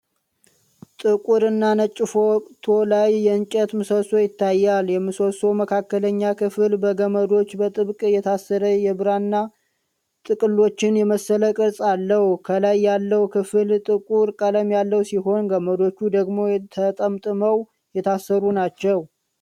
ጥቁር እና ነጭ ፎቶ ላይ የእንጨት ምሰሶ ይታያል። የምሰሶው መካከለኛ ክፍል በገመዶች በጥብቅ የታሰረ የብራና ጥቅልሎችን የመሰለ ቅርጽ አለው። ከላይ ያለው ክፍል ጥቁር ቀለም ያለው ሲሆን፣ ገመዶቹ ደግሞ ተጠምጥመው የታሰሩ ናቸው።